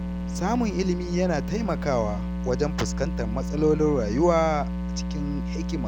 Samun ilimi yana taimakawa wajen fuskantar matsalolin rayuwa cikin hikima.